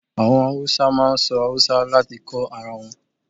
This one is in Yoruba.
Àwọn Hausa máa ń sọ Haúsá láti kó ara wọn.